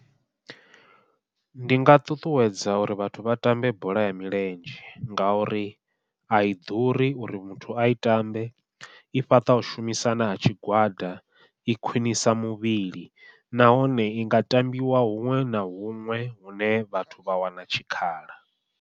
Ndi nga ṱuṱuwedza uri vhathu vha tambe bola ya milenzhe, ngauri ai ḓuri uri muthu ai tambe, i fhaṱa u shumisana ha tshigwada i khwiṋisa muvhili nahone i nga tambiwa huṅwe na huṅwe hune vhathu vha wana tshikhala.